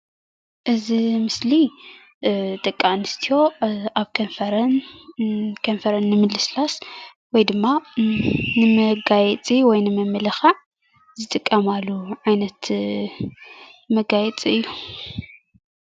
እዚ ምስሊ ደቂ አንስትዮ አብ ከንፈረን ክንፈረን ንምልስላስ ወይ ድማ ንመጋየጺ ወይ ንምምልኻዕ ዝጥቀማሉ ዓይነት መጋየጺ እዩ።